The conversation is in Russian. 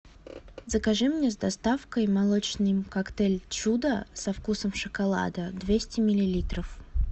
закажи мне с доставкой молочный коктейль чудо со вкусом шоколада двести миллилитров